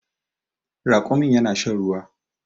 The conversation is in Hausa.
Raƙumin yana shan ruwa